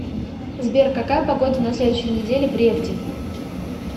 сбер какая погода на следующей неделе в ревде